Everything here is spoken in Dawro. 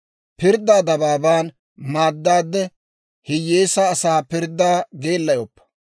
«Pirddaa dabaaban maaddaade, hiyyeesaa asaa pirddaa geellayoppa.